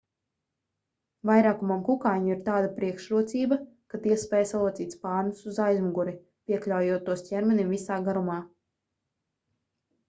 vairākumam kukaiņu ir tāda priekšrocība ka tie spēj salocīt spārnus uz aizmuguri piekļaujot tos ķermenim visā garumā